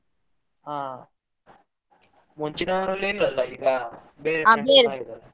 ಹಾ ಮುಂಚಿನವರೆಲ್ಲ ಇಲ್ಲ ಅಲ್ಲ ಈಗ, ಬೇರೆ .